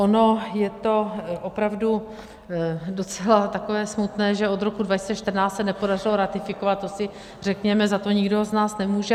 Ono je to opravdu docela takové smutné, že od roku 2014 se nepodařilo ratifikovat, to si řekněme, za to nikdo z nás nemůže.